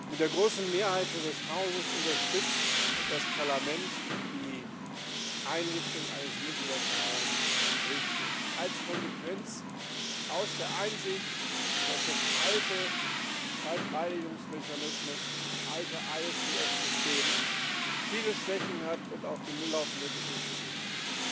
Mit der großen Mehrheit dieses Hauses unterstützt das Parlament die Einrichtung eines multilateralen Gerichtshofs als Konsequenz aus der Einsicht, dass der alte Streitbeilegungsmechanismus, das alte ISDS System, viele Schwächen hat und auf den Müllhaufen der Geschichte gehört.